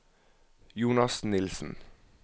Jonas Nielsen